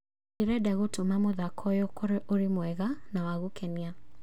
Ndĩrenda gũtũma mũthako ũyũ ũkorwo ũrĩ mwega na wa gũkenia